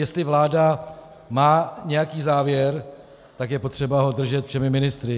Jestli vláda má nějaký závěr, tak je potřeba ho držet všemi ministry.